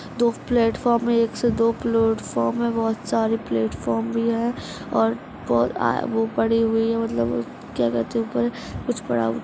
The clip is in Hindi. दो फ्लेटफॉर्म है एक से दो फ्लेटफॉर्म है बहोत सारी फ्लेटफॉर्म भी है और आ-वो पड़ी हुई मतलब क्या कहता है उपर कुछ पड़ा हुआ--